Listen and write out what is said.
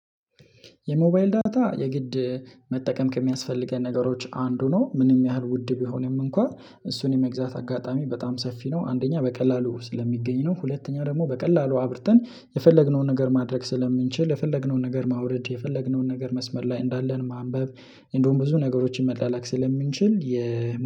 የሞባይል ዳታ የግድ መጠቀም ከሚያስፈልገን ነገሮች አንዱ ነው ምንም ያህል ውድ ቢሆንም እንኳን እሱን የመግዛት አጋጣሚ በጣም ሰፊ ነው። አንደኛ በቀላሉ ስለሚገኝ ነው ሁለተኛ ደግሞ በቀላሉ አብርተን የፈለግነውን ነገር ማድረግ ስለምንችል የፈለግነውን ነገር ማውረድ የፈለግነውን ነገር መስመር ላይ እንዳለን ማንበብ እንደውም ብዙ ነገሮችን መላላክ ስለምንችል የ